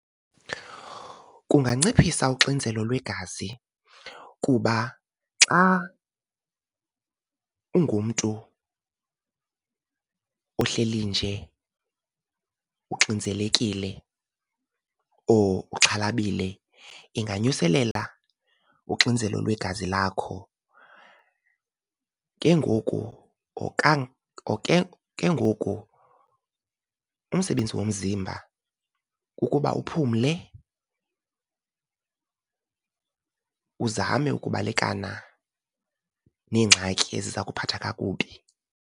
Kunganciphisa uxinzelo lwegazi kuba xa ungumntu ohleli nje uxinzelekile or uxhalabile inganyuselela uxinzelo lwegazi lakho. Ke ngoku , ke ngoku umsebenzi womzimba kukuba uphumle, uzame ukubalekana neengxaki eziza kuphatha kakubi.